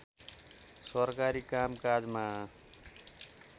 सरकारी काम काजमा